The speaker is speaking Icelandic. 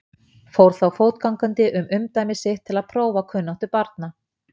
Fór þá fótgangandi um umdæmi sitt til að prófa kunnáttu barna.